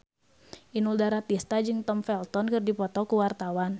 Inul Daratista jeung Tom Felton keur dipoto ku wartawan